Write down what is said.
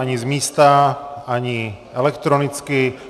Ani z místa, ani elektronicky.